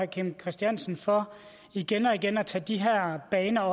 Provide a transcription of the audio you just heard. kim christiansen for igen og igen at tage de her baner